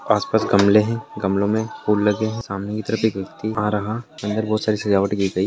आसपास गमले हैं गमलों में फूल लगे हैं सामने की तरफ एक व्यक्ति आ रहा अंदर बोह सारी सजावट की गयी --